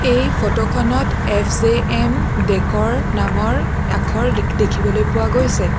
এই ফটো খনত এফ_জে_এম ডেক'ৰ নামৰ আখৰ লিখ দেখিবলৈ পোৱা গৈছে।